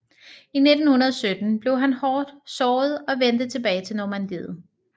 I 1917 blev han hårdt såret og vendte tilbage til Normandiet